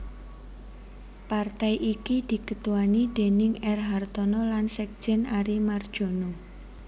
Partai iki diketuani déning R Hartono lan sekjen Ary Mardjono